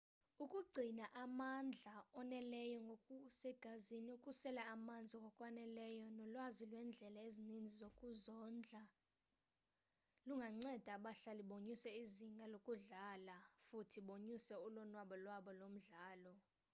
ukugcina amandla oneleyo ngokusegazini ukusela amanzi ngokwaneleyo nolwazi lwendlela ezininzi zokuzondla lunganceda abadlali bonyuse izinga lokudlala futhi bonyuse ulonwabo lwabo lomdlalo